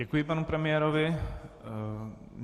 Děkuji panu premiérovi.